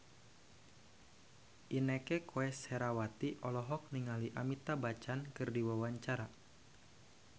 Inneke Koesherawati olohok ningali Amitabh Bachchan keur diwawancara